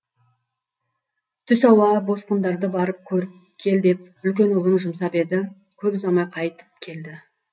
түс ауа босқындарды барып көріп кел деп үлкен ұлын жұмсап еді көп ұзамай қайтып келді